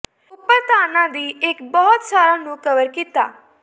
ਉੱਪਰ ਧਾਰਨਾ ਦੀ ਇੱਕ ਬਹੁਤ ਸਾਰਾ ਨੂੰ ਕਵਰ ਕੀਤਾ